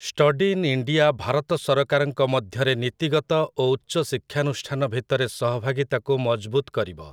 study in India Bharat ସରକାରଙ୍କ ମଧ୍ୟରେ ନୀତିଗତ ଓ ଉଚ୍ଚଶିକ୍ଷାନୁଷ୍ଠାନ ଭିତରେ ସହଭାଗିତାକୁ ମଜବୁତ୍ କରିବ